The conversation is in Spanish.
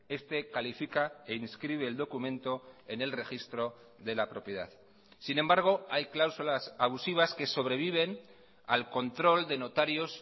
este califica e inscribe el documento en el registro de la propiedad sin embargo hay cláusulas abusivas que sobreviven al control de notarios